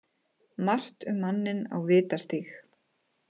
Margt um manninn á Vitastíg